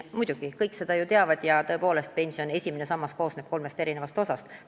Muidugi, seda teavad ju kõik, et tõepoolest pensioni esimene sammas koosneb kolmest osast.